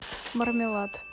мармелад